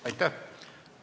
Aitäh!